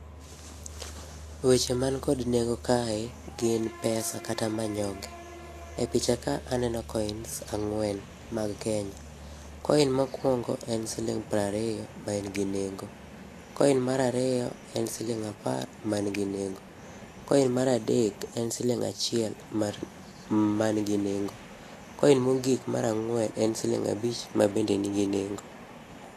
Weche man kod nengo kae gin pesa kata manyonge. E picha ka aneno coins ang'wen mag Kenya. Coin mokuongo en siling piero ariyo maen gi nengo. Coin mar ariyo, en siling apar man gi nengo. Coin ® mar adek en siling achiel mar ma nigi nengo. Coin mogik mar ang'wen en siling abich mabende nigi nengo.